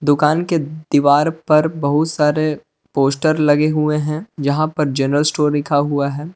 दुकान के दीवार पर बहुत सारे पोस्टर लगे हुए हैं। जहां पर जनरल स्टोर लिखा हुआ है।